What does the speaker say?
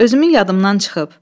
Özümün yadımdan çıxıb.